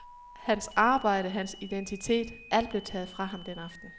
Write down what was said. Hans arbejde, hans identitet, alt blev taget fra ham den aften.